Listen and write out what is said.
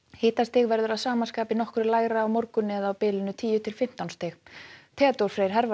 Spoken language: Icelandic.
hitastig verður að sama skapi nokkru lægra á morgun eða á bilinu tíu til fimmtán stig Theodór Freyr